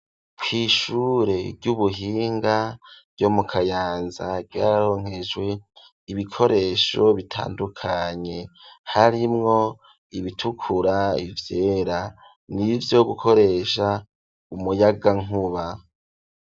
Kw'ishure ry'ubuhinga ryo mu Kayanza, ryaronkejwe ibikoresho bitandukanye. Harimwo ibitukura, ivyera, n'ivyo gukoresha umuyagankuba.